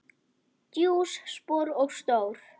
Djúp spor og stór.